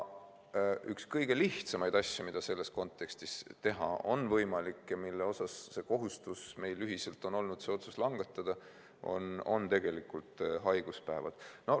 Üks kõige lihtsamaid asju, mida selles kontekstis teha on võimalik ja mille kohta otsuse langetamise kohustus meil ühiselt on olnud, on haiguspäevad.